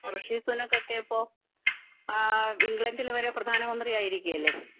ratio സുനോക്കെ ഇപ്പോ ആ ഇംഗ്ലണ്ടിൽ വരെ പ്രത്യനാമന്ത്രി ആയിരിക്കുകയല്ലേ